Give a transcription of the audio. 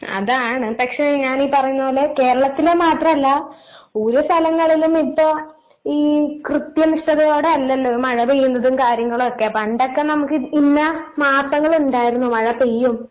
അതാണ് പക്ഷെ ഞാൻ ഈ പറയുന്ന പോലെ കേരളത്തിലെ മാത്രം അല്ല, ഓരോ സ്ഥലങ്ങളിലും ഇപ്പൊ ഈ കൃത്യനിഷ്ഠതയോടെ അല്ലല്ലോ ഈ മഴ പെയ്യുന്നതും കാര്യങ്ങളൊക്കെ പണ്ടൊക്കെ നമുക്ക് ഇന്ന മാസങ്ങളുണ്ടായിരുന്നു മഴ പെയ്യും